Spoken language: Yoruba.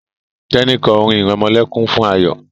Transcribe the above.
Teni kọ orin iremolekun fún Ayo.